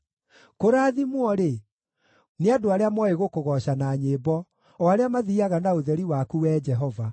Kũrathimwo-rĩ, nĩ andũ arĩa mooĩ gũkũgooca na nyĩmbo, o arĩa mathiiaga na ũtheri waku, Wee Jehova.